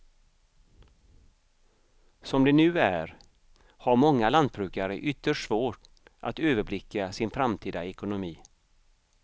Som det nu är har många lantbrukare ytterst svårt att överblicka sin framtida ekonomi.